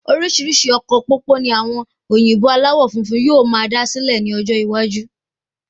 Orísirísi ọkọ̀ pópó ní àwọn òyìnbó alawọ funfun yóò máa dá sílè ni ọjọ iwaju